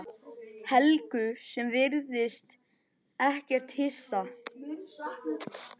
Helgu sem virðist ekkert hissa.